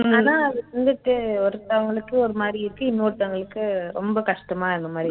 ஆனா அது வந்துட்டு ஒருத்தவங்களுக்கு ஒரு மாதிரி இருக்கு இன்னோருத்தவங்களுக்கு ரொம்ப கஷ்டமா இருக்குற மாதிரி